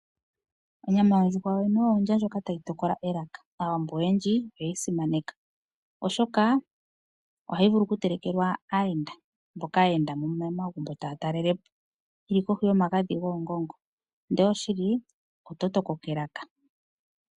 Onyama yondjuhwa yoyene oyo ondja ndyoka tayi tokola elaka aawambo oyendji oyeyi simaneka oshoka ohayi vulu oku telekelwa aayenda mboka yendamo momagumbo tata lelepo ndele oshili oto tokoka elaka.